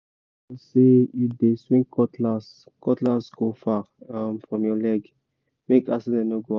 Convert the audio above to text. make sure say you dey swing cutlass cutlass go far um from your leg—make accident no go happen